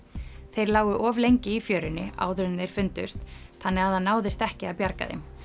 þeir lágu of lengi í fjörunni áður en þeir fundust þannig það náðist ekki að bjarga þeim